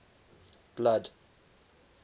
blood